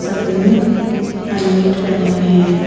सबने हेलमेट पहने हुए हैं।